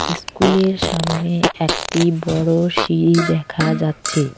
ইস্কুলের সামনে একটি বড় সিঁড়ি দেখা যাচ্ছে।